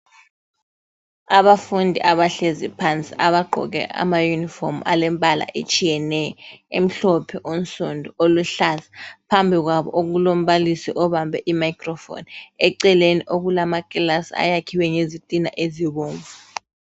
Abafundi abahlezi phansi abagqoke amayunifomu alembala etshiyeneyo, emhlophe, onsundu, oluhlaza. Phambi kwabo okulombalisi obambe imicrophone. Eceleni kulamakilasi ayakhiwe ngezitina ezibomvu.